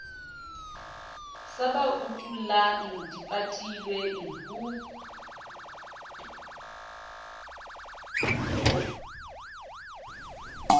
sa ba utullang dipatilweng ho